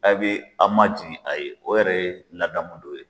Aye bɛ a' majigi a ye o yɛrɛ ye ladamu dɔ ye.